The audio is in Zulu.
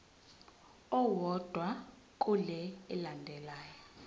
owodwa kule elandelayo